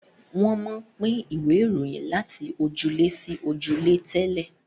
wón món pin Ìwé Ìròyìn lati ojúlé sí ojúlé tẹlẹ